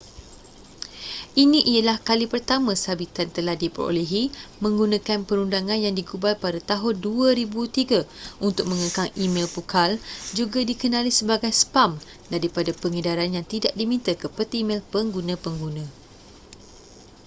ini ialah kali pertama sabitan telah diperolehi menggunakan perundangan yang digubal pada tahun 2003 untuk mengekang e-mel pukal juga dikenali sebagai spam daripada pengedaran yang tidak diminta ke peti mel pengguna-pengguna